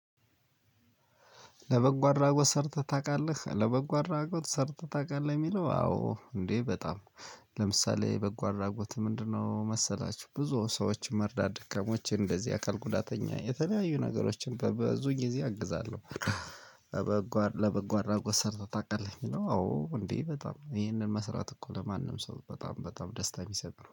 ለበጎ አድራጎት ሰርተህ ታውቃለህ? ለበጎ አድራጎት ሰርተህ ታውቃለህ የሚለው አዎ እንዴ በጣም ለምሳሌ በጎ አድራጎት ምንድነው መሰላችሁ? ብዙ ሰዎች መርዳት ደካማዎች እንደዚህ አካል ጉዳተኛ የተለያዩ ነገሮችን በብዙ ጊዜ አግዛለሁ። ለበጎ አድራጎት ሰርተህ ታቃለህ? የሚለው አዎ እንዴ በጣም ይህንን መስራት እኮ ለማንም ሰው በጣም በጣም ደስታ የሚሰጥ ነው።